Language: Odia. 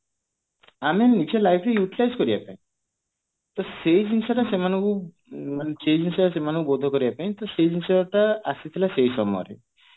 ଆମେ ନିଜ life ରେ utilize କରିବା ପାଇଁ ତ ସେଇ ଜିନିଷ ଟା ସେମାନଙ୍କୁ ମାନେ ସେମାନଙ୍କୁ କରିବା ପାଇଁ ତ ସେଇ ଜିନିଷ ଟା ଆସିଥିଲା ସେଇ ସମୟରେ